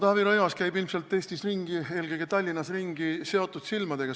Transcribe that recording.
Taavi Rõivas käib ilmselt Eestis, eelkõige Tallinnas, ringi seotud silmadega.